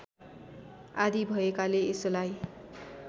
आदि भएकाले यसलाई